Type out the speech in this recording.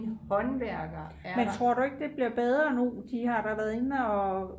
men tror du ikke det bliver bedre nu de har da været inde og